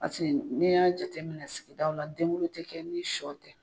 Pasiki n'i y'a jate minɛ sigidaw la denguli tɛ kɛ ni shɔ tɛ.